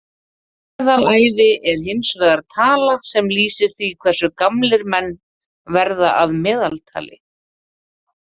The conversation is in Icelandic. Meðalævi er hins vegar tala sem lýsir því hversu gamlir menn verða að meðaltali.